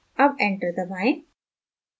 अब enter दबाएं